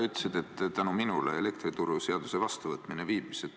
Sa ütlesid, et minu tõttu elektrituruseaduse vastuvõtmine viibis.